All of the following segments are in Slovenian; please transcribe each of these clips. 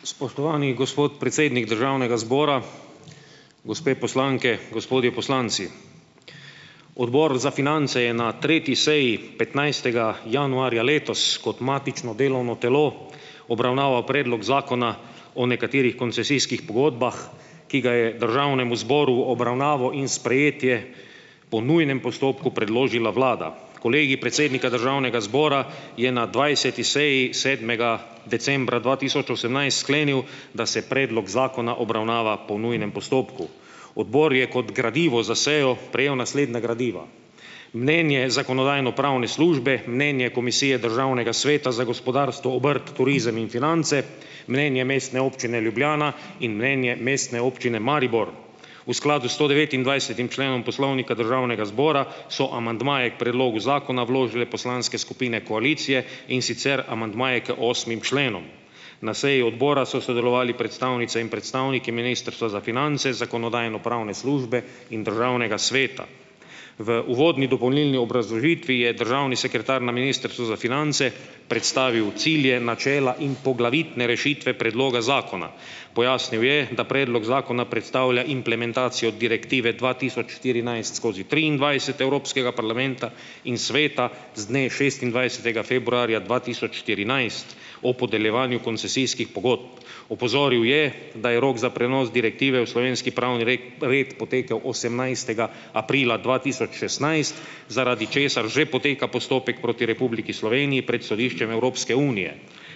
Spoštovani gospod predsednik Državnega zbora, gospe poslanke, gospodje poslanci. Odbor za finance je na tretji seji petnajstega januarja letos kot matično delovno telo obravnaval predlog zakona o nekaterih koncesijskih pogodbah, ki ga je državnemu zboru v obravnavo in sprejetje po nujnem postopku predložila vlada. Kolegi predsednika državnega zbora je na dvajseti seji sedmega decembra dva tisoč osemnajst sklenil, da se predlog zakona obravnava po nujnem postopku. Odbor je kot gradivo za sejo prejel naslednje gradiva: mnenje zakonodajno-pravne službe, mnenje Komisije Državnega sveta za gospodarstvo, obrt, turizem in finance, mnenje Mestne občine Ljubljana in mnenje Mestne občine Maribor. V skladu s sto devetindvajsetim členom Poslovnika Državnega zbora so amandmaje k predlogu zakona vložile poslanske skupine koalicije, in sicer amandmaje k osmim členom. Na seji odbora so sodelovali predstavnice in predstavniki Ministrstva za finance, zakonodajno-pravne službe in državnega sveta. V uvodni dopolnilni obrazložitvi je državni sekretar na Ministrstvu za finance predstavil cilje, načela in poglavitne rešitve predloga zakona. Pojasnil je, da predlog zakona predstavlja implementacijo Direktive dva tisoč štirinajst skozi triindvajset Evropskega parlamenta in Sveta z dne šestindvajsetega februarja dva tisoč štirinajst o podeljevanju koncesijskih pogodb. Opozoril je, da je rok za prenos direktive v slovenski pravni red potekel osemnajstega aprila dva tisoč šestnajst, zaradi česar že poteka postopek proti Republiki Sloveniji pred Sodiščem Evropske unije.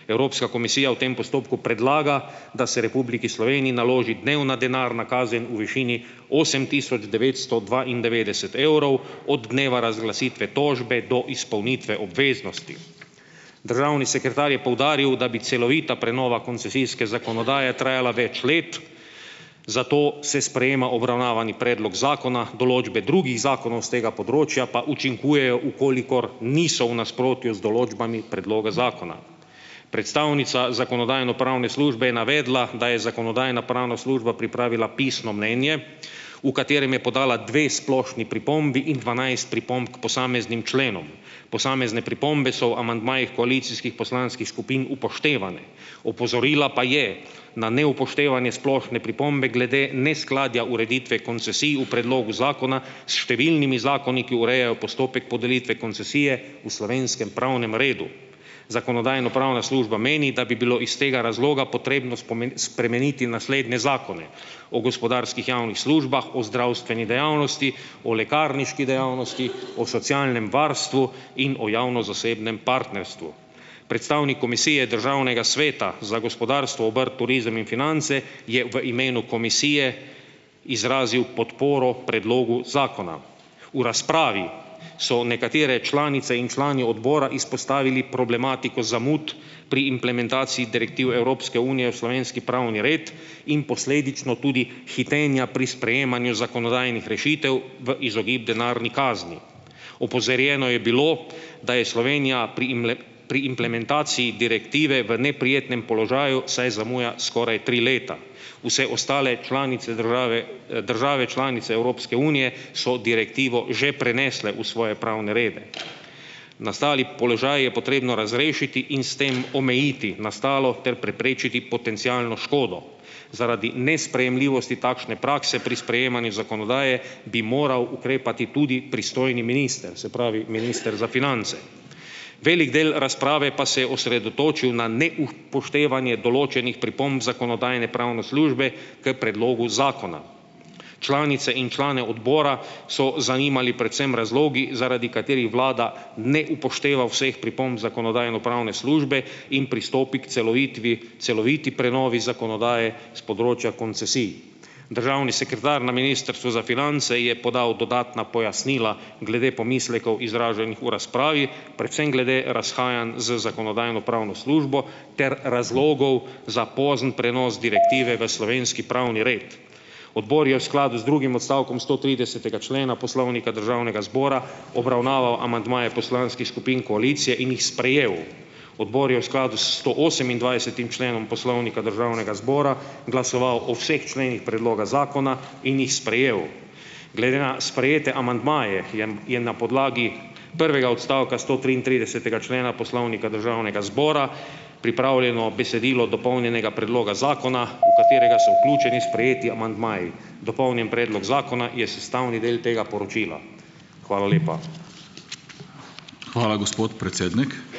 Evropska komisija v tem postopku predlaga, da se Republiki Sloveniji naloži dnevna denarna kazen v višini osem tisoč devetsto dvaindevetdeset evrov od dneva razglasitve tožbe do izpolnitve obveznosti. Državni sekretar je poudaril, da bi celovita prenova koncesijske zakonodaje trajala več let, zato se sprejema obravnavani predlog zakona, določbe drugih zakonov s tega področja pa učinkujejo, v kolikor niso v nasprotju z določbami predloga zakona. Predstavnica zakonodajno-pravne službe je navedla, da je zakonodajno-pravna služba pripravila pisno mnenje, v katerem je podala dve splošni pripombi in dvanajst pripomb k posameznim členom. Posamezne pripombe so v amandmajih koalicijskih poslanskih skupin upoštevane, opozorila pa je na neupoštevanje splošne pripombe glede neskladja ureditve koncesij v predlogu zakona s številnimi zakoni, ki urejajo postopek podelitve koncesije v slovenskem pravnem redu. Zakonodajno-pravna služba meni, da bi bilo iz tega razloga potrebno spremeniti naslednje zakone: o gospodarskih javnih službah, o zdravstveni dejavnosti, o lekarniški dejavnosti , o socialnem varstvu in o javno-zasebnem partnerstvu. Predstavnik Komisije Državnega sveta za gospodarstvo, obrt, turizem in finance je v imenu komisije izrazil podporo predlogu zakona. V razpravi so nekatere članice in člani odbora izpostavili problematiko zamud pri implementaciji direktiv Evropske unije v slovenski pravni red in posledično tudi hitenja pri sprejemanju zakonodajnih rešitev v izogib denarni kazni. Opozorjeno je bilo, da je Slovenija pri pri implementaciji Direktive v neprijetnem položaju, saj zamuja skoraj tri leta. Vse ostale članice države, države članice Evropske unije so direktivo že prenesle v svoje pravne rede. Nastali položaj je potrebno razrešiti in s tem omejiti nastalo ter preprečiti potencialno škodo. Zaradi nesprejemljivosti takšne prakse pri sprejemanju zakonodaje bi moral ukrepati tudi pristojni minister, se pravi minister za finance. Velik del razprave pa se je osredotočil na neupoštevanje določenih pripomb zakonodajno-pravne službe k predlogu zakona. Članice in člane odbora so zanimali predvsem razlogi, zaradi katerih vlada ne upošteva vseh pripomb zakonodajno-pravne službe in pristopi k celoviti prenovi zakonodaje s področja koncesij. Državni sekretar na Ministrstvu za finance je podal dodatna pojasnila glede pomislekov izraženih v razpravi, predvsem glede razhajanj z zakonodajno-pravno službo ter razlogov za pozen prenos direktive v slovenski pravni red. Odbor je v skladu z drugim odstavkom stotridesetega člena Poslovnika Državnega zbora obravnaval amandmaje poslanskih skupin koalicije in jih sprejel. Odbor je v skladu s stoosemindvajsetim členom Poslovnika Državnega zbora glasoval o vseh členih predloga zakona in jih sprejel. Glede na sprejete amandmaje je, je na podlagi prvega odstavka stotriintridesetega člena Poslovnika Državnega zbora pripravljeno besedilo dopolnjenega predloga zakona, katerega so vključeni sprejeti amandmaji. Dopolnjen predlog zakona je sestavni del tega poročila. Hvala lepa. Hvala, gospod predsednik.